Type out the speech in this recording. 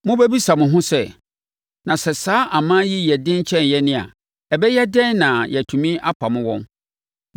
Mobɛbisa mo ho sɛ, “Na sɛ saa aman yi yɛ den kyɛn yɛn a, ɛbɛyɛ dɛn na yɛatumi apamo wɔn?”